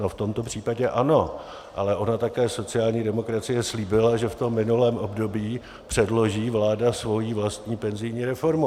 No, v tomto případě ano, ale ona také sociální demokracie slíbila, že v tom minulém období předloží vláda svoji vlastní penzijní reformu.